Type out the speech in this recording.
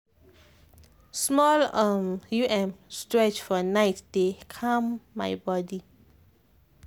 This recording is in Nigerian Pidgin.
small um stretch for night dey calm my body.